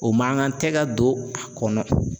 O mankan tɛ ka ton a kɔnɔ.